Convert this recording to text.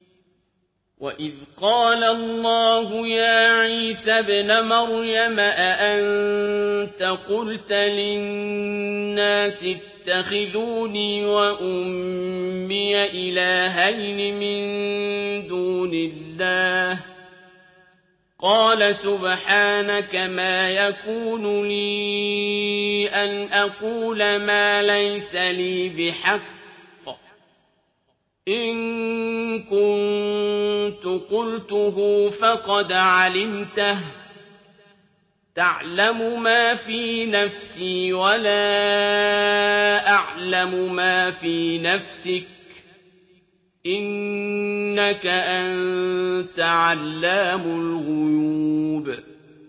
وَإِذْ قَالَ اللَّهُ يَا عِيسَى ابْنَ مَرْيَمَ أَأَنتَ قُلْتَ لِلنَّاسِ اتَّخِذُونِي وَأُمِّيَ إِلَٰهَيْنِ مِن دُونِ اللَّهِ ۖ قَالَ سُبْحَانَكَ مَا يَكُونُ لِي أَنْ أَقُولَ مَا لَيْسَ لِي بِحَقٍّ ۚ إِن كُنتُ قُلْتُهُ فَقَدْ عَلِمْتَهُ ۚ تَعْلَمُ مَا فِي نَفْسِي وَلَا أَعْلَمُ مَا فِي نَفْسِكَ ۚ إِنَّكَ أَنتَ عَلَّامُ الْغُيُوبِ